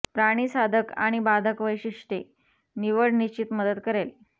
प्राणी साधक आणि बाधक वैशिष्ट्ये निवड निश्चित मदत करेल